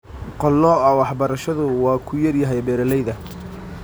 Qalooca waxbarashadu waa ku yar yahay beeralayda.